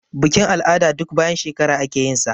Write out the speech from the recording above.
Bikin-al'ada duk bayan shekara ake yinsa.